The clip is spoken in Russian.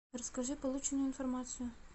расскажи полученную информацию